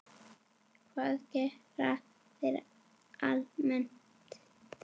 Hvað gera þeir almennt?